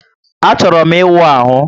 A chọrọ m íwú ahụ